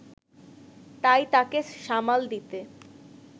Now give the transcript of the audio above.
তাই তাকে সামাল দিতে